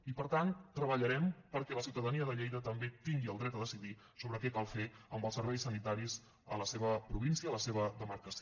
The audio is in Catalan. i per tant treballarem perquè la ciutadania de lleida també tingui el dret a decidir sobre què cal fer amb els serveis sanitaris a la seva província a la seva demarcació